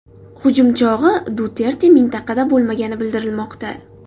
Hujum chog‘i Duterte mintaqada bo‘lmagani bildirilmoqda.